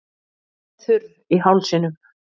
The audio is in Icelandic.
Er þurr í hálsinum.